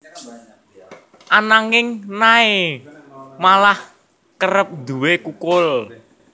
Ananging Nay malah kerep nduwé kukul